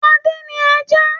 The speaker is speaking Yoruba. Adé ní ajá.